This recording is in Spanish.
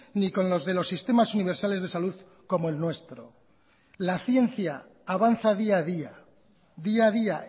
ni con los de los sistemas universales de salud como el nuestro la ciencia avanza día a día día a día